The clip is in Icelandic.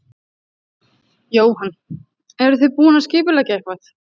Jóhann: Eruð þið búin að skipuleggja eitthvað?